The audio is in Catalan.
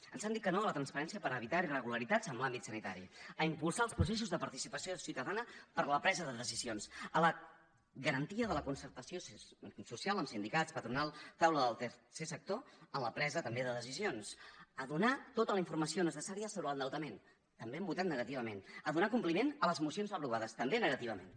ens han dit que no a la transparència per evitar irregularitats en l’àmbit sanitari a impulsar els processos de participació ciutadana per a la presa de decisions a la garantia de la concertació social amb sindicats patronal taula del tercer sector en la presa també de decisions a donar tota la informació necessària sobre l’endeutament també hi han votat negativament a donar compliment a les mocions aprovades també negativament